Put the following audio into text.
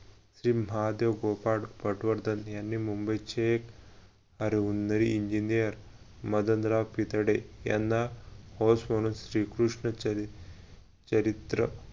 श्री महादेव गोपाळ पटवर्धन यांनी मुंबईचे एक engineer मदनराव कितडे यांना host म्हणून श्रीकृष्ण चरित्र